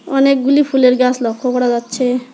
অনেকগুলি ফুলের গাস লক্ষ করা যাচ্ছে।